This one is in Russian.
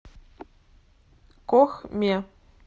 кохме